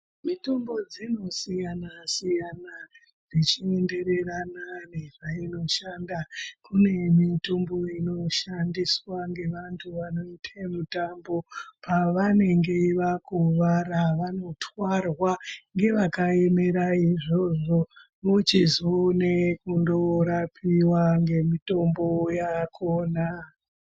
Mitombo dzinosiyanasiyana zvechienderana nezvainoshanda kune mitombo inoshandiswa ngevanhu vanoite mitambo pavanenge vakuwara vanotwarwa ngevakaemera izvozvo vochizoone korapaiwa ngemitombo yakona.